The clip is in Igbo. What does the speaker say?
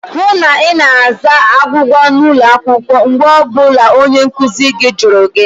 Hụụ na Ị na-aza agwụgwa n'ụlọ akwụkwọ mgbe ọ bụla onye nkụzi gị jụrụ gị!